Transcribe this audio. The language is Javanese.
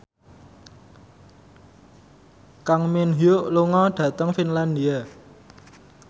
Kang Min Hyuk lunga dhateng Finlandia